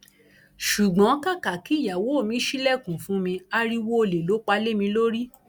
ṣùgbọn kàkà kí ìyàwó mi ṣílẹkùn fún mi ariwo ọlẹ ló pa lé mi lórí